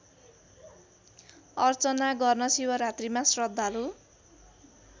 अर्चना गर्न शिवरात्रीमा श्रद्धालु